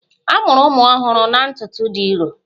A mụrụ ụmụ ọhụrụ ha na ntutu dị nro